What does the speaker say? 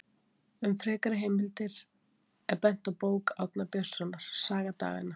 Um frekari heimildir er bent á bók Árna Björnssonar, Saga daganna.